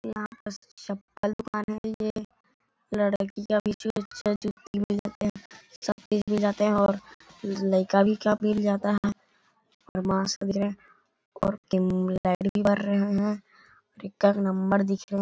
यहाँ पास चप्पल दुकान है ये लडकियां भी सब देखने जाते है और लइका भी लेने जाता है और और लाइट भी बर रहे है और एकर नंबर दिख रहे--